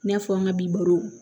I n'a fɔ an ka bi baro